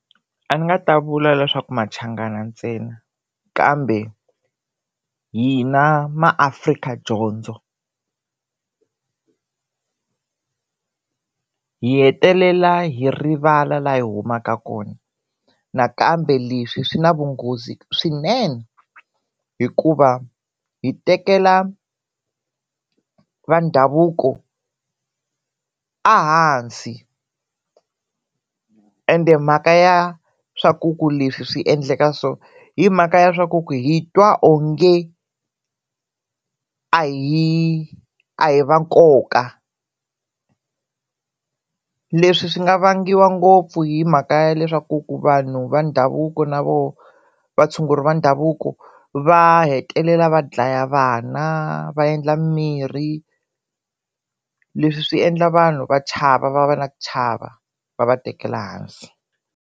A ndzi nga ta vula leswaku maChangana ntsena kambe hina maAfrika dyondzo hi hetelela hi rivala la hi humaka kona nakambe leswi swi na vunghozi swinene hikuva hi tekela va ndhavuko ehansi ende mhaka ya swa ku ku leswi swi endleka so i mhaka ya swa ku ku hi twa onge a hi a hi va nkoka leswi swi nga vangiwa ngopfu hi mhaka ya leswaku ku vanhu va ndhavuko na voho vatshunguri va ndhavuko va hetelela va dlaya vana va endla mirhi leswi swi endla vanhu va chava va va na ku chava va va tekela hansi.